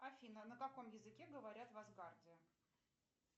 афина на каком языке говорят в асгарде